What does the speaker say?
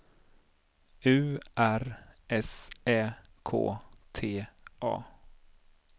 U R S Ä K T A